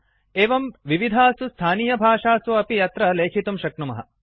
एवं वयं विविधासु स्थानीयभाषासु अपि अत्र लेखितुं शक्नुमः